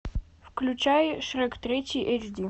включай шрек третий эйч ди